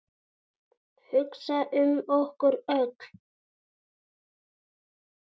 Hugsa um okkur öll.